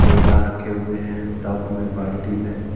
पौधा रखे हुए हैं टब में बाल्टी में --